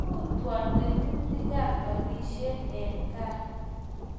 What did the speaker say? kiyutwon tetutikab olisiet eng' gaa